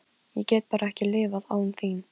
Ég get bara ekki lifað án þín.